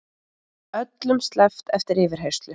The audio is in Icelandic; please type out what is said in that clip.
Öllum sleppt eftir yfirheyrslu